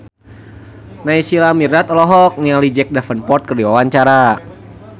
Naysila Mirdad olohok ningali Jack Davenport keur diwawancara